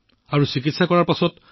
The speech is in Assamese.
গতিকে সেই লোকসকল সন্তুষ্ট হৈ থাকে